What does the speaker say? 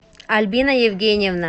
альбина евгеньевна